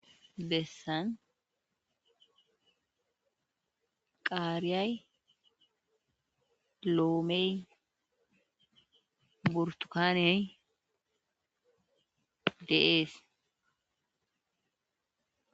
Bessan qaariyay, loomee, burththukaanee de7eesikko.